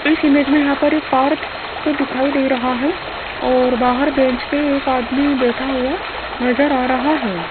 इस इमेज में यहां पर एक पार्क क दिखाई दे रहा है और बाहर बेंच पे एक आदमी बैठा हुआ नजर आ रहा है।